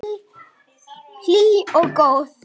Hlý og góð.